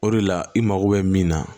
O de la i mago bɛ min na